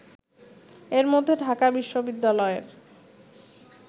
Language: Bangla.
এর মধ্যে ঢাকা বিশ্ববিদ্যালয়ের